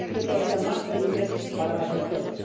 Y han sido todavía más terribles para las mujeres.